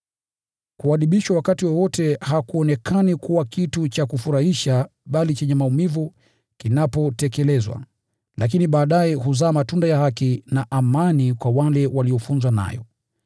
Kuadibishwa wakati wowote hakuonekani kuwa kitu cha kufurahisha bali chenye maumivu kinapotekelezwa. Lakini baadaye huzaa matunda ya haki na amani kwa wale waliofunzwa nayo.